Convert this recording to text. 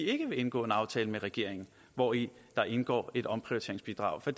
ikke vil indgå en aftale med regeringen hvori der indgår et omprioriteringsbidrag for